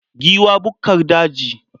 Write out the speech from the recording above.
Giwa bukkar daji.